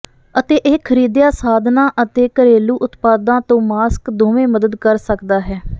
ਅਤੇ ਇਹ ਖਰੀਦਿਆ ਸਾਧਨਾਂ ਅਤੇ ਘਰੇਲੂ ਉਤਪਾਦਾਂ ਤੋਂ ਮਾਸਕ ਦੋਵੇਂ ਮਦਦ ਕਰ ਸਕਦਾ ਹੈ